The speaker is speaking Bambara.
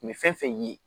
Nin bɛ fɛn fɛn ye